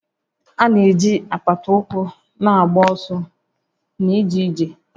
A na-eji apata ụkwụ na-agba ọsọ na ịga ije